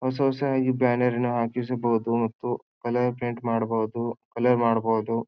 ಹೊಸ ಹೊಸ ಆಗಿ ಬ್ಯಾನೆರ್ ಅನ್ನು ಹಾಕಿಸಬಹುದು ಮತ್ತು ಕಲರ್ ಪ್ರಿಂಟ್ ಮಾಡಬಹುದು ಕಲರ್ ಮಾಡಬಹುದು.